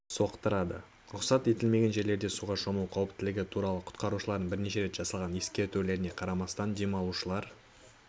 соқтырады рұқсат етілмеген жерлерде суға шомылу қауіптілігі туралы құтқарушылардың бірнеше рет жасаған ескертулеріне қарамастан демалушылар